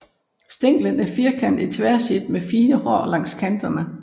Stænglen er firkantet i tværsnit med fine hår langs kanterne